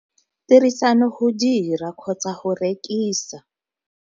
Tirisano go dira kgotsa go rekisa.